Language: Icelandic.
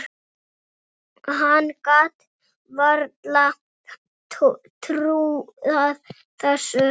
Hann gat varla trúað þessu.